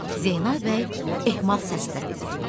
Zeynəb bəy ehmal səslə dedi: